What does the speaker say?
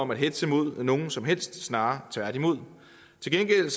om at hetze mod nogen som helst snarere tværtimod til gengæld